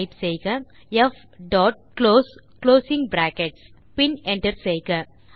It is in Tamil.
டைப் செய்க ப் டாட் குளோஸ் குளோசிங் பிராக்கெட்ஸ் பின் என்டர் செய்க